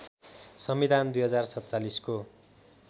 संविधान २०४७ को